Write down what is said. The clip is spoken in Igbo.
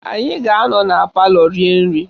Anyị a ga-anọ na palọ rie nri?